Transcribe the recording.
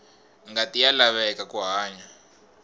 ngati ya laveka ku hanya